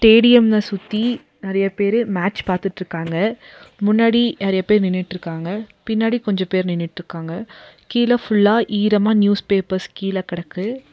ஸ்டேடியம்ம சுத்தி நெறைய பேரு மேட்ச் பாத்துட்ருக்காங்க முன்னாடி நெறைய பேர் நின்னுட்ருக்காங்க பின்னாடி கொஞ்ச பேர் நின்னுட்ருக்காங்க கீழ ஃபுல்லா ஈரமா நியூஸ் பேப்பர்ஸ் கீழ கெடக்கு.